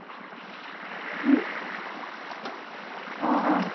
হু? অ অ